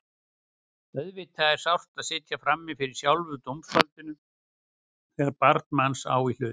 Auðvitað er sárt að sitja frammi fyrir sjálfu dómsvaldinu þegar barn manns á í hlut.